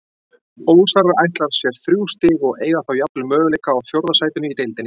Ólsarar ætla sér þrjú stig og eiga þá jafnvel möguleika á fjórða sætinu í deildinni.